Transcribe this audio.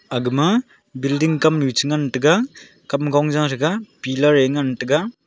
agama building kamnu cha ngan taga kamgong Jaa saga pillar ngan taga.